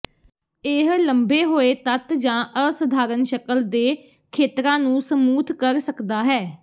ਇਹ ਲੰਬੇ ਹੋਏ ਤੱਤ ਜਾਂ ਅਸਧਾਰਨ ਸ਼ਕਲ ਦੇ ਖੇਤਰਾਂ ਨੂੰ ਸਮੂਥ ਕਰ ਸਕਦਾ ਹੈ